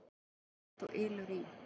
Það er líkt og ylur í